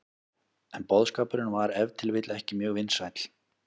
En boðskapurinn var ef til vill ekki mjög vinsæll.